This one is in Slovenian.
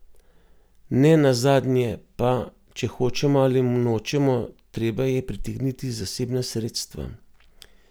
Ne nazadnje pa, če hočemo ali nočemo, treba je pritegniti zasebna sredstva.